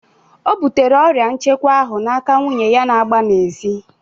O bụtere ọrịa nchekwa ahụ n'aka nwunye ya na-agba n'ezi.